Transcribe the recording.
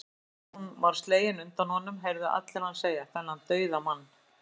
Áður en hún var slegin undan honum, heyrðu allir hann segja, þennan dauðamann